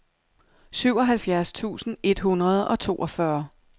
syvoghalvfjerds tusind et hundrede og toogfyrre